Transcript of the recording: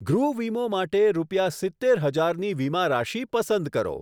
ગૃહ વીમો માટે રૂપિયા સિત્તેર હજારની વીમારાશી પસંદ કરો.